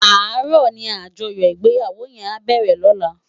Àárò ni ájòyò igbéyáwó yèn á bèrè lòlá